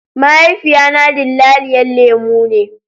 Mahaifiya na dillaliyan lemu ne.